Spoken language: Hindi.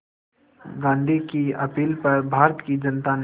गांधी की अपील पर भारत की जनता ने